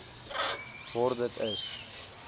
word dit is